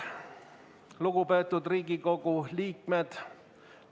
Lugupeetud Riigikogu liikmed!